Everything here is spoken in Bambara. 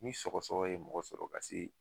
Ni sɔgɔsɔgɔ ye mɔgɔ sɔrɔ ka se